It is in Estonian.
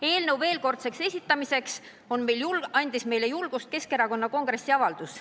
Eelnõu veelkordseks esitamiseks andis meile julgust Keskerakonna kongressi avaldus.